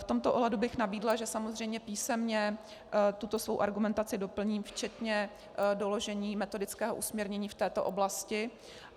V tomto ohledu bych nabídla, že samozřejmě písemně tuto svou argumentaci doplním včetně doložení metodického usměrnění v této oblasti.